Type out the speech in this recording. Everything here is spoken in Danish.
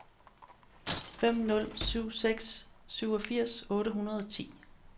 fem nul syv seks syvogfirs otte hundrede og ti